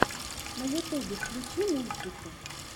на ютюбе включи мультики